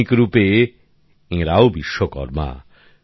আধুনিক রুপে এরাও বিশ্বকর্মা